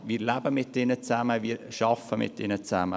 Wir leben und arbeiten mit ihr zusammen.